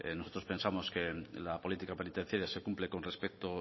nosotros pensamos que la política penitenciaria se cumple con respecto